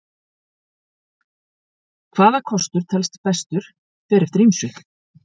Hvaða kostur telst bestur fer eftir ýmsu.